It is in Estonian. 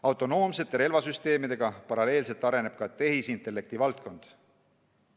Autonoomsete relvasüsteemidega paralleelselt areneb ka tehisintellekti valdkond.